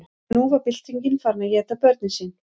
en nú var byltingin farin að éta börnin sín